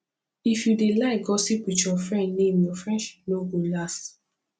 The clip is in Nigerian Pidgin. if you dey like gossip with your friend name your friendship no go last